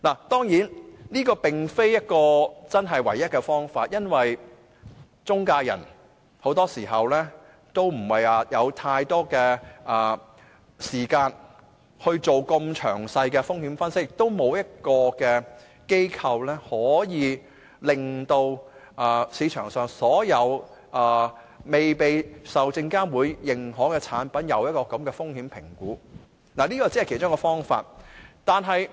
當然，這並非唯一的方法，因為很多時候，中介人不會有太多時間做這麼詳細的風險分析，亦沒有機構可以就市場上所有未被證監會認可的產品，做這樣的風險評估，所以，這只是其中一個方法。